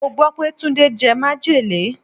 Mo gbó pé Túndé jẹ majele.